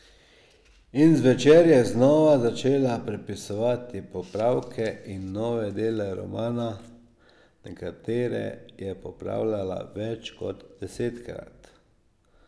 In zvečer je znova začela prepisovati popravke in nove dele romana, nekatere je popravljala več kot desetkrat.